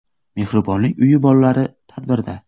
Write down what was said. Mehribonlik uyi bolalari tadbirda.